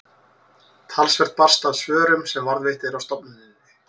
talsvert barst af svörum sem varðveitt eru á stofnuninni